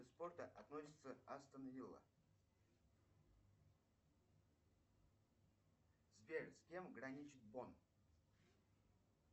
спорта относится астон вилла сбер с кем граничит бонн